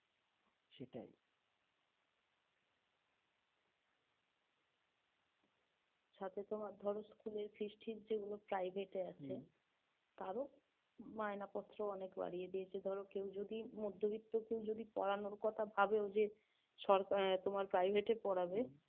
সাথে তোমার ধর school এর fees টিস যেগুলো private এ আছে তারও ময়নাপত্র অনেক বাড়িয়ে দিয়েছে ধরো কেউ যদি মধ্যবিত্ত কেউ পড়ানোর কথা ভাবেও যে সরকার তোমার private এ পড়াবে